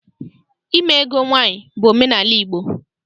Ime ego nwaanyị bụ omenaala Igbo.